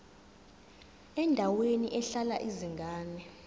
endaweni ehlala izingane